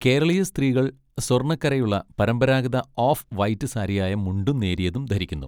കേരളീയ സ്ത്രീകൾ സ്വർണ്ണ കരയുള്ള പരമ്പരാഗത ഓഫ് വൈറ്റ് സാരിയായ മുണ്ടും നേരിയതും ധരിക്കുന്നു.